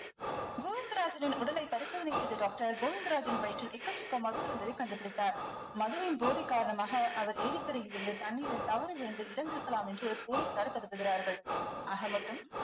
கோவிந்தராஜனின் உடலை பரிசோதனை செய்த doctor கோவிந்தராஜின் வயிற்றில் எக்கச்சக்க மது இருந்ததை கண்டுபிடித்தார் மதுவின் போதை காரணமாக அவர் ஏரிக்கரையில் இருந்து தண்ணீரில் தவறி விழுந்து இறந்திருக்கலாம் என்று police ஆர் கருதுகிறார்கள் ஆக மொத்தம்